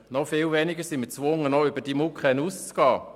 Noch viel weniger sind wir gezwungen, über die MuKEn hinauszugehen.